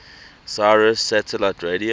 sirius satellite radio